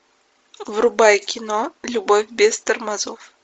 врубай кино любовь без тормозов